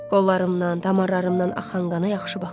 Qollarımdan, damarlarımdan axan qana yaxşı baxın.